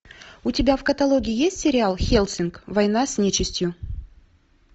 у тебя в каталоге есть сериал хеллсинг война с нечистью